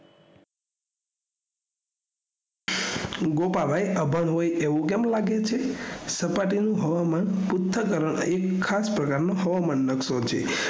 ગોપાભાઈ અભયભાઈ એવું કેમ લાગે છે સપાટી નું હવામાન પુંચ તરફ થી ખાસ પ્રકાર નો હવામાન નકશો છે